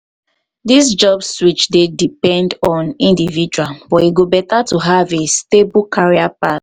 dis job switch dey depend on individual but e go better to have to have a stable career path.